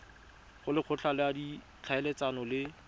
go lekgotla la ditlhaeletsano le